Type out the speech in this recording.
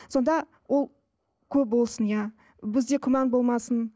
сонда ол көп болсын иә бізде күмән болмасын